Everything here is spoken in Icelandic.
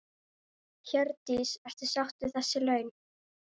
Hjördís: Ertu sátt við þessi laun?